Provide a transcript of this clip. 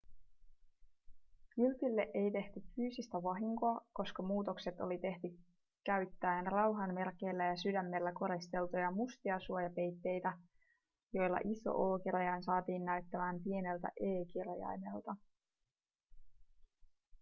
kyltille ei tehty fyysistä vahinkoa koska muutokset oli tehty käyttäen rauhanmerkeillä ja sydämellä koristeltuja mustia suojapeitteitä joilla iso o-kirjain saatiin näyttämään pieneltä e-kirjaimelta